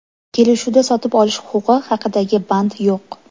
Kelishuvda sotib olish huquqi haqidagi band yo‘q.